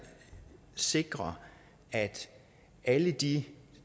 sikre at alle de